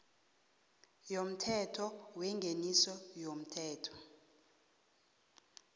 yomthetho wengeniso yomthelo